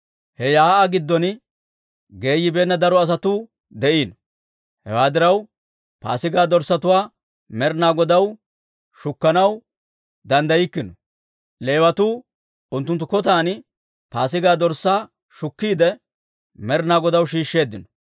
He shiik'uwaa giddon geeyibeenna daro asatuu de'iino. Hewaa diraw, paasigaa dorssatuwaa Med'inaa Godaw shukkanaw danddaykkino; Leewatuu unttunttu kotan Paasigaa dorssaa shukkiide Med'inaa Godaw shiisheeddino.